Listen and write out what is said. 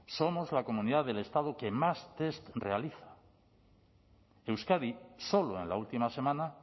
somos la comunidad del estado que más test realiza euskadi solo en la última semana